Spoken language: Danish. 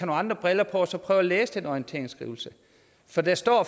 andre briller på og så prøve at læse den orienteringsskrivelse for der står